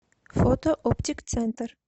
фото оптик центр